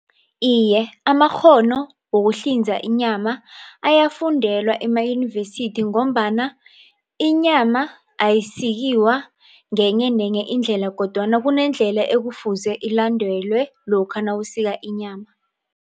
Iye, amakghono wokuhlinza inyama ayafundelwa emayunivesithi ngombana inyama ayisikiwa ngenye nenye indlela kodwana kunendlela ekufuze ilandelwe lokha nawusika inyama.